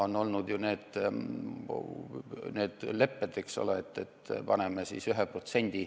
On olnud need lepped, et paneme siis sinna 1%.